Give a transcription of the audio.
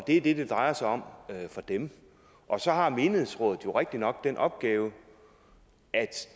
er det det drejer sig om for dem og så har menighedsrådet jo rigtigt nok den opgave at